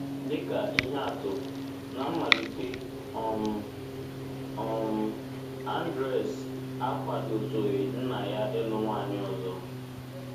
Dị ka ihe atụ, ná mmalite um, um Andres akwadotụghị nna ya ịlụ nwaanyị ọzọ.